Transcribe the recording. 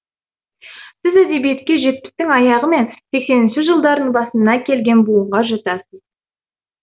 сіз әдебиетке жетпістің аяғы мен сексенінші жылдардың басында келген буынға жатасыз